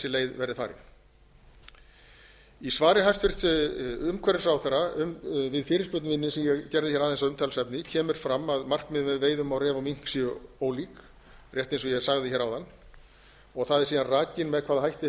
leið verði farin í svari hæstvirts umhverfisráðherra við fyrirspurn minni sem ég gerði aðeins að umtalsefni kemur fram að markmiðin með veiðum á ref og mink séu ólík rétt eins og ég sagði áðan og það er síðan rakið með hvaða hætti